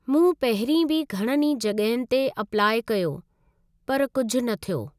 मूं पहिरीं बि घणनि ई जॻहियुनि ते अप्लाइ कयो, पर कुझु न थियो।